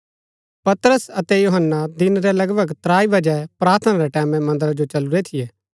पतरस अतै यूहन्‍ना दिन रै लगभग त्राई बजै प्रार्थना रै टैमैं मन्दरा जो चलुरै थियै